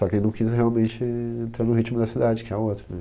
Só quem não quis realmente entrar no ritmo da cidade, que é outro né